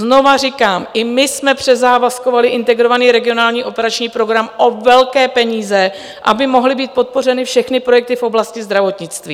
Znovu říkám, i my jsme přezávazkovali Integrovaný regionální operační program o velké peníze, aby mohly být podpořeny všechny projekty v oblasti zdravotnictví.